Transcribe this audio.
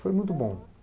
Foi muito bom.